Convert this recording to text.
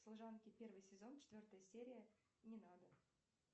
служанки первый сезон четвертая серия не надо